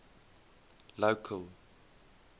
local